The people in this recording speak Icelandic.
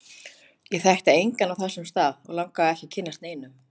Ég þekkti engan á þessum stað, og langaði ekki að kynnast neinum.